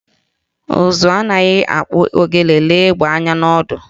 Ụzụ na amaghị akpụ ogene lee egbe anya n'ọdụ